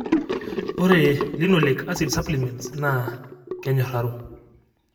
ore Linoleic acid supplements naa kenyoraro.